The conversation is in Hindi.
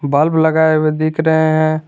बल्ब लगाए हुए दिख रहे हैं।